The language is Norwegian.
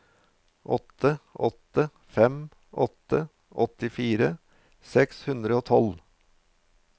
åtte åtte fem åtte åttifire seks hundre og tolv